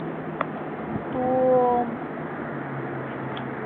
томск